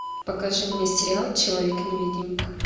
покажи мне сериал человек невидимка